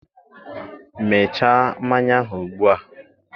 mechaa mmanya ahụ ugbu a!